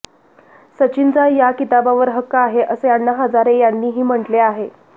सचिनचा या किताबावर हक्क आहे असे अण्णा हजारे यांनीही म्हटले आहे